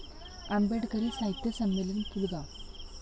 आंबेडकरी साहित्य संमेलन, पुलगाव.